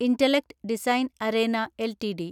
intellect Design Arena LTD